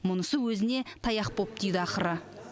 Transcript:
мұнысы өзіне таяқ боп тиді ақыры